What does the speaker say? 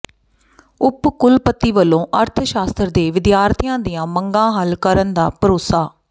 ਉਪ ਕੁਲਪਤੀ ਵਲੋਂ ਅਰਥ ਸ਼ਾਸਤਰ ਦੇ ਵਿਦਿਆਰਥੀਆਂ ਦੀਆਂ ਮੰਗਾਂ ਹੱਲ ਕਰਨ ਦਾ ਭਰੋਸਾ